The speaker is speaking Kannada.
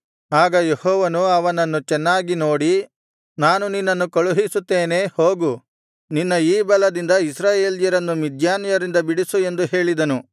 ಆಗ ಯೆಹೋವನು ಅವನನ್ನು ಚೆನ್ನಾಗಿ ನೋಡಿ ನಾನು ನಿನ್ನನ್ನು ಕಳುಹಿಸುತ್ತೇನೆ ಹೋಗು ನಿನ್ನ ಈ ಬಲದಿಂದ ಇಸ್ರಾಯೇಲ್ಯರನ್ನು ಮಿದ್ಯಾನ್ಯರಿಂದ ಬಿಡಿಸು ಎಂದು ಹೇಳಿದನು